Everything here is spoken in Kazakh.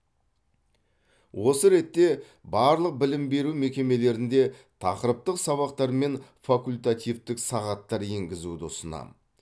осы ретте барлық білім беру мекемелерінде тақырыптық сабақтар мен факультативтік сағаттар енгізуді ұсынамын